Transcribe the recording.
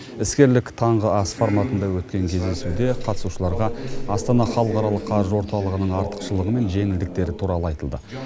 іскерлік таңғы ас форматында өткен кездесуде қатысушыларға астана халықаралық қаржы орталығы артықшылығы мен жеңілдіктері туралы айтылды